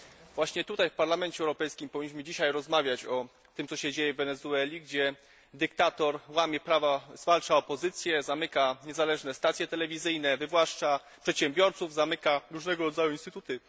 Właśnie tutaj, w Parlamencie Europejskim powinniśmy dzisiaj rozmawiać o tym, co się dzieje w Wenezueli, gdzie dyktator łamie prawa, zwalcza opozycję, zamyka niezależne stacje telewizyjne, wywłaszcza przedsiębiorców, zamyka różnego rodzaju instytuty.